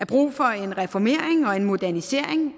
brug for en reformering og en modernisering